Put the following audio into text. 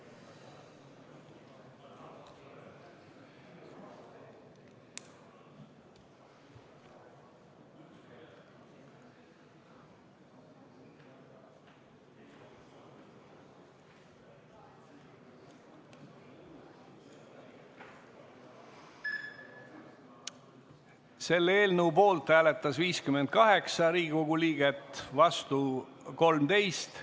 Hääletustulemused Selle eelnõu poolt hääletas 58 Riigikogu liiget, vastu 13.